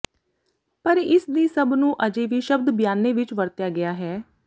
ਪਰ ਇਸ ਦੀ ਸਭ ਨੂੰ ਅਜੇ ਵੀ ਸ਼ਬਦ ਬਿਆਨੇ ਵਿੱਚ ਵਰਤਿਆ ਗਿਆ ਹੈ